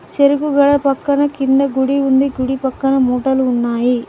చెరుకు గడ పక్కన కింద గుడి ఉంది గుడి పక్కన మూటలు ఉన్నాయి.